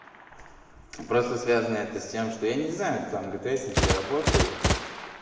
просто связано это с тем что я не знаю там гтсники работают